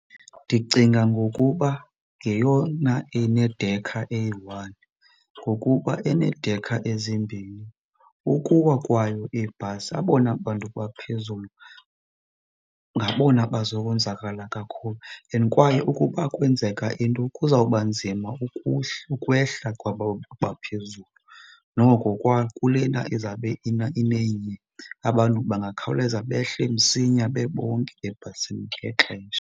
Ndicinga ngokuba ngeyona inedekha eyi-one ngokuba eneedekha ezimbini ukuwa kwayo ibhasi abona bantu baphezulu ngabona bazokonzakala kakhulu and kwaye ukuba kwenzeka into kuzawuba nzima ukwehla kwaba baphezulu. Noko kulena izabe inenye abantu bangakhawuleza behle msinya bebonke ebhasini ngexesha.